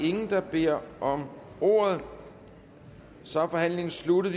ingen der beder om ordet så er forhandlingen sluttet